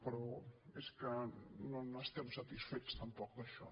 però és que no n’estem satisfets tampoc d’això